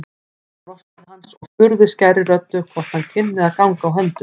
Hún brosti til hans og spurði skærri röddu hvort hann kynni að ganga á höndum.